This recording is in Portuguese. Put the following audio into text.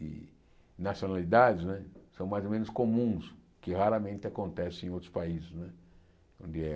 de nacionalidades né são mais ou menos comuns, que raramente acontecem em outros países. De eh